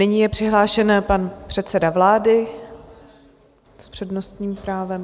Nyní je přihlášen pan předseda vlády s přednostním právem.